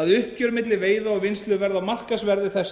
að uppgjör milli veiða og vinnslu verði á markaðsverði þess